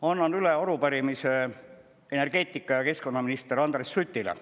Annan üle arupärimise energeetika- ja keskkonnaminister Andres Sutile.